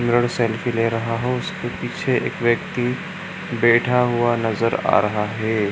Selfie ले रहा हो इसके पीछे एक व्यक्ति बैठा हुआ नजर आ रहा है।